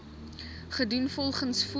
gedoen volgens voor